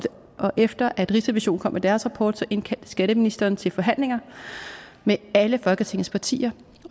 efter at rigsrevisionen kom med deres rapport indkaldte skatteministeren til forhandlinger med alle folketingets partier